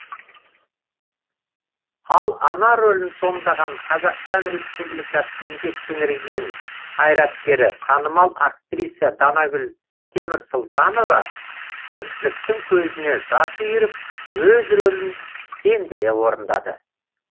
ал ана рөлін сомдаған қазақстан республикасы еңбек сіңірген қайраткері танымал актриса данагүл темірсұлтанова көпшіліктің көзіне жас үйіріп өз рөлін сендіре орындады